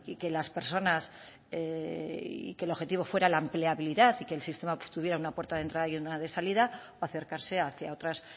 que las personas y que el objetivo fuera la empleabilidad y que el sistema tuviera una puerta de entrada y una de salida o acercarse hacia otras